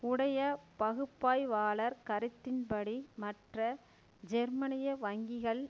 உடைய பகுப்பாய்வாளர் கருத்தின் படி மற்ற ஜெர்மனிய வங்கிகள்